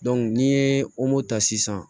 n'i ye ta sisan